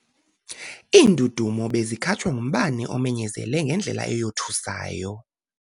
Iindudumo bezikhatshwa ngumbane omenyezele ngendlela eyothusayo.